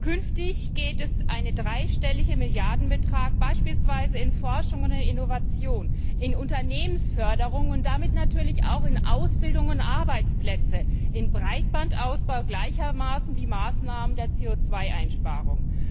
Künftig geht ein dreistelliger Milliardenbetrag beispielsweise in Forschung und Innovation, in Unternehmensförderung und damit natürlich auch in Ausbildung und Arbeitsplätze, in Breitbandausbau gleichermaßen wie in Maßnahmen der CO Einsparung.